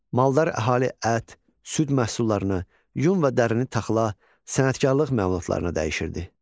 Maldar əhali ət, süd məhsullarını, yun və dərini taxıla, sənətkarlıq məmulatlarını dəyişirdi.